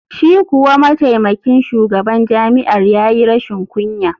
Shi kuwa mataimakin shugaban jami’ar ya yi rashin kunya.